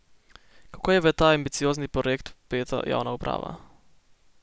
Kako je v ta ambiciozni projekt vpeta javna uprava?